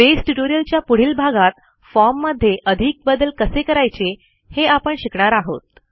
base ट्युटोरियलच्या पुढील भागात formमध्ये अधिक बदल कसे करायचे हे आपण शिकणार आहोत